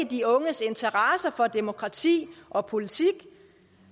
de unges interesse for demokrati og politik